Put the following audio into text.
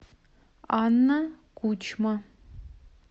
анна кучма